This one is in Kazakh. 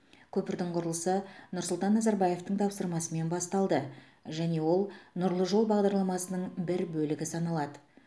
көпірдің құрылысы нұрсұлтан назарбаевтың тапсырмасымен басталды және ол нұрлы жол бағдарламасының бір бөлігі саналады